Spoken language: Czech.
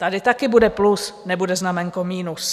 Tady taky bude plus, nebude znaménko minus.